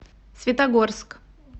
светогорск